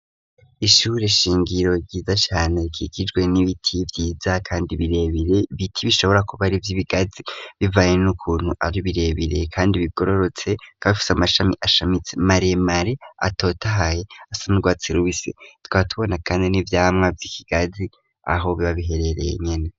Ishure shingiro ryidashani kikijwe n'ibiti vyiza kandi birebere biti bishobora kuba ari vy'ibigazi bivaye n'ukuntu ari birebereye kandi bigororotse ko abifase amashami ashamitse marie mari atotahaye asandwatse ruisi twatubona kandi n'ivyamwa vy'ikigazi aho bibabiherereye nyene.